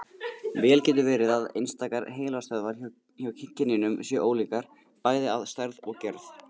Vel getur verið að einstakar heilastöðvar hjá kynjunum séu ólíkar, bæði að stærð og gerð.